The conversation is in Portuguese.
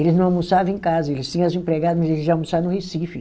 Eles não almoçavam em casa, eles tinham as empregadas, mas eles iam almoçar no Recife.